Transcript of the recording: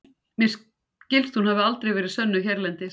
mér skilst að hún hafi aldrei verið sönnuð hérlendis